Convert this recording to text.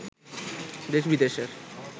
দেশ-বিদেশের